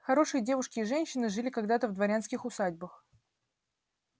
хорошие девушки и женщины жили когда-то в дворянских усадьбах